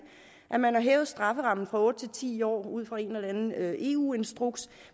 at man har hævet strafferammen fra otte til ti år ud fra en eller anden eu instruks